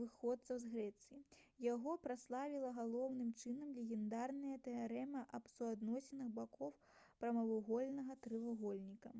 выхадцаў з грэцыі яго праславіла галоўным чынам легендарная тэарэма аб суадносінах бакоў прамавугольнага трохвугольніка